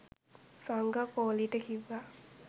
සංගා කෝලිට කිව්ව